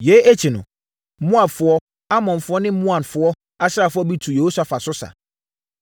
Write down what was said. Yei akyi no, Moabfoɔ, Amonfoɔ ne Maonfoɔ asraafoɔ bi tuu Yehosafat so sa.